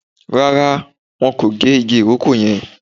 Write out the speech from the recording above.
Rárá, wọn kò gé igi ìrókò yẹn